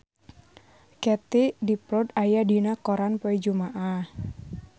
Katie Dippold aya dina koran poe Jumaah